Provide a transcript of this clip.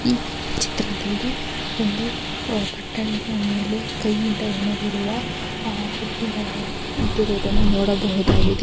ಈ ಚಿತ್ರದಲ್ಲಿ ಒಂದು ಆಹ್ ಮೇಲೆ ಕೈಯಿಂದ ಹೆಣೆದಿರುವ ಆಹ್ ಬುಟ್ಟಿಗಳ ಇಟ್ಟಿರುವುದನ್ನು ನೋಡಬಹುದಾಗಿದೆ.